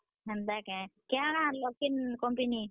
ହେନ୍ତା କେଁ। କାଣା ଆନ୍ ଲ, କେନ company ?